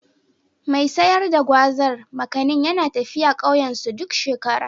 Mai sayar da Gwazar/ Makanin yana tafiya ƙauyensu duk shekara.